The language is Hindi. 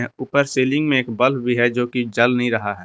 ऊपर सीलिंग में एक बल्ब भी है जो कि जल नहीं रहा है।